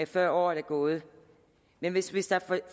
før året er gået men hvis hvis der er